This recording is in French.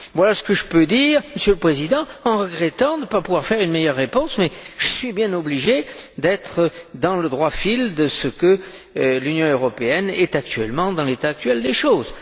Voilà ce que je peux dire, Monsieur le Président, en regrettant de ne pas pouvoir faire une meilleure réponse, mais je suis bien obligé d'être dans le droit fil de ce que l'Union européenne est dans l'état actuel des choses.